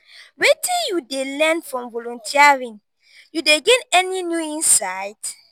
wetin you dey learn from volunteering you dey gain any new insight?